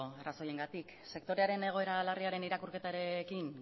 arrazoiengatik sektorearen egoera larriaren irakurketarekin